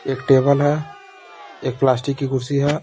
एक टेबल है एक प्लास्टिक की कुर्सी है।